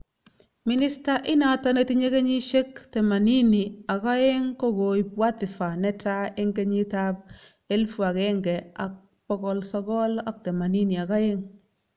minister inato netinye kenyiske 82kokoip wadhifa netaa en kenyi ap 1982